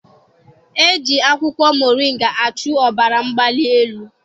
E ji akwụkwọ moringa achụ ọbara mgbali elu.